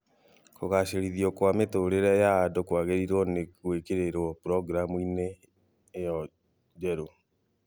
Kũgacĩrithio kwa mĩtũrĩre ya andũ kwagĩrĩirwo nĩ gwĩkĩrĩrwo programu-inĩ ĩno njerũ